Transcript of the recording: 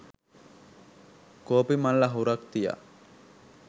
කෝපි මල් අහුරක් තියා